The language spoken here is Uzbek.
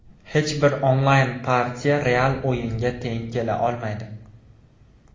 Hech bir onlayn-partiya real o‘yinga teng kela olmaydi.